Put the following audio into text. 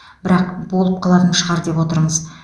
бірақ болып қалатын шығар деп отырмыз